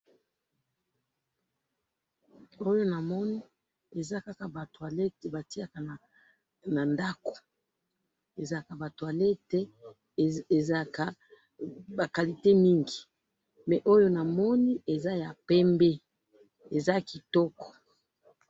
oyo namoni eza kaka ba toilette batiyaka na ndaku ezalaka ba toilette ezalaka ba qualite mingi oyo namoni eza ya pembe eza kitoko .